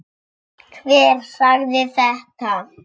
Hver sagði þetta?